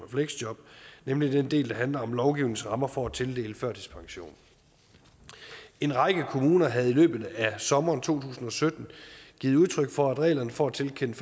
og fleksjob nemlig den del der handler om lovgivningens rammer for at tildele førtidspension en række kommuner havde i løbet af sommeren to tusind og sytten givet udtryk for at reglerne for at tilkende